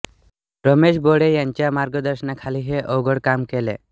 रमेश भोळे यांच्या मार्गदर्शनाखाली हे अवघड काम केले